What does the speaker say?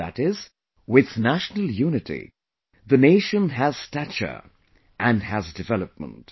That is, with national unity, the nation has stature and has development